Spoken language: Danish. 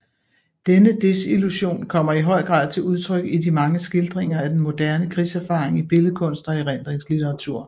Denne desillusion kommer i høj grad til udtryk i de mange skildringer af denne moderne krigserfaring i billedkunst og erindringslitteratur